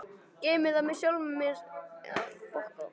Geymi það með sjálfri mér einsog allt annað.